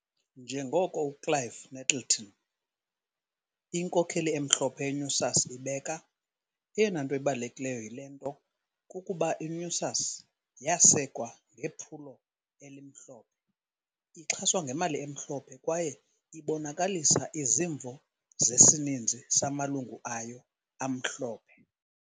Njengoko uClive Nettleton, inkokeli emhlophe ye-NUSAS ibeka- "Eyona nto ibalulekileyo yile nto kukuba i-NUSAS yasekwa ngephulo elimhlophe, ixhaswa ngemali emhlophe kwaye ibonakalisa izimvo zesininzi samalungu ayo amhlophe".